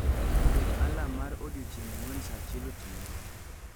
Ket alarm mar odiechieng' ang'wen saa achiel otieno